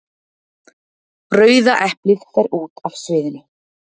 Rauða eplið fer út af sviðinu.